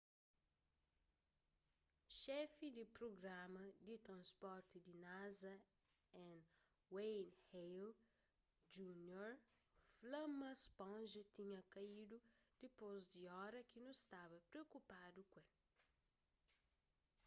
xefi di prugrama di transporti di nasa n wayne hale jr fla ma sponja tinha kaídu dipôs di ora ki nu staba priokupadu ku el